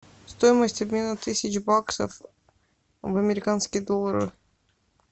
стоимость обмена тысяч баксов в американские доллары